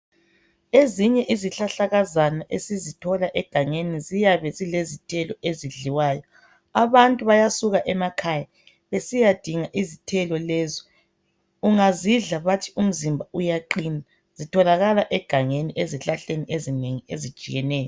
Ezinye izihlahlakazana esizithola egangeni ,ziyabe zilezithelo ezidliwayo .Abantu bayasuka emakhaya besiyadinga izithelo lezo .Ungazidla bathi umzimba uyaqina , zitholakala egangeni ezihlahleni ezinengi ezitshiyeneyo.